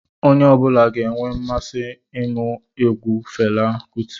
Onye ọbula ga-enwe mmasị inu egwu Fela Kuti